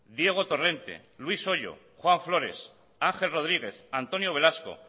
diego torrente luis hoyo juan flores ángel rodríguez antonio velasco